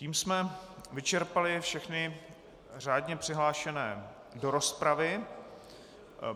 Tím jsme vyčerpali všechny řádně přihlášené do rozpravy.